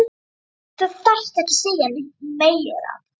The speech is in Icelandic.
Þú þarft ekki að segja neitt meira